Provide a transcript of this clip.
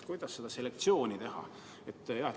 Kuidas seda selektsiooni teha?